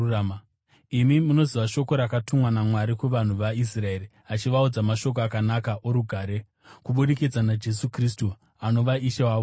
Imi munoziva shoko rakatumwa naMwari kuvanhu veIsraeri, achivaudza mashoko akanaka orugare kubudikidza naJesu Kristu, anova Ishe wavose.